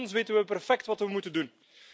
Nochtans weten we perfect wat we moeten doen.